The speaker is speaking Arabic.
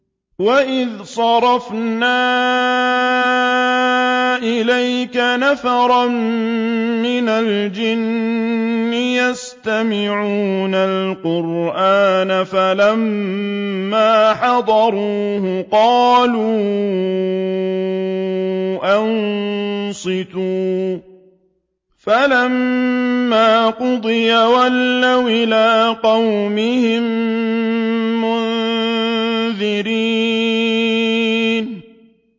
وَإِذْ صَرَفْنَا إِلَيْكَ نَفَرًا مِّنَ الْجِنِّ يَسْتَمِعُونَ الْقُرْآنَ فَلَمَّا حَضَرُوهُ قَالُوا أَنصِتُوا ۖ فَلَمَّا قُضِيَ وَلَّوْا إِلَىٰ قَوْمِهِم مُّنذِرِينَ